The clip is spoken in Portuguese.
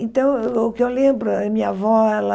Então, o o que eu lembro, a minha avó, ela...